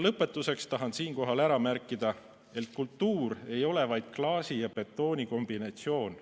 Lõpetuseks tahan märkida, et kultuur ei ole vaid klaasi ja betooni kombinatsioon.